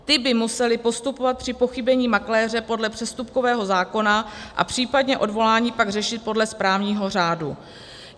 Ty by musely postupovat při pochybení makléře podle přestupkového zákona a případně odvolání pak řešit podle správního řádu.